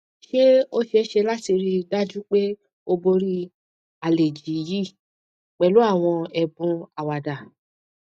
ṣé o ṣee ṣe lati rii daju pe o bori aleji yi pẹlu àwọn ẹbùn àwàdá